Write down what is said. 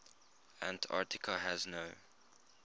antarctica has no